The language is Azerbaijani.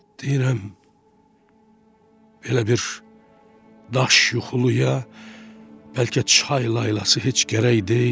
Deyirəm belə bir daş yuxuluya bəlkə çay laylası heç gərək deyil.